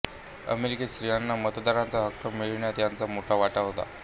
अमेरिकेत स्त्रीयांना मतदानाचा हक्क मिळण्यात यांचा मोठा वाटा होता